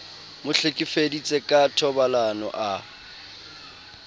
mo hlekefeditse ka thobalano a